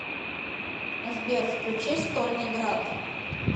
сбер включи стольный град